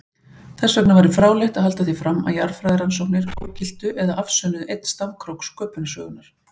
Þessvegna væri fráleitt að halda því fram að jarðfræðirannsóknir ógiltu eða afsönnuðu einn stafkrók sköpunarsögunnar.